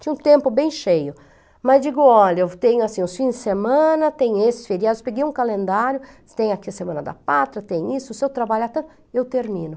Tinha um tempo bem cheio, mas digo, olha, eu tenho assim, os fins de semana, tem esses feriados, peguei um calendário, tem aqui a semana da pátria, tem isso, se eu trabalhar tanto, eu termino.